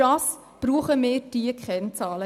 Dafür brauchen wir diese Kennzahlen.